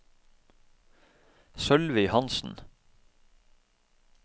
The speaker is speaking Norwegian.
Sølvi Hansen